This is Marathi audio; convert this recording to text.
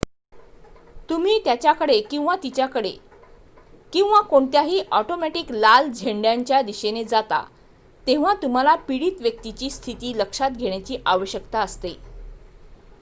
तुम्ही त्याच्याकडे किंवा तिच्याकडे किंवा कोणत्याही ऑटोमॅटिक लाल झेंड्यांच्या दिशेने जाता तेव्हा तुम्हाला पीडित व्यक्तीची स्थिती लक्षात घेण्याची आवश्यकता असते